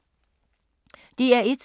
DR1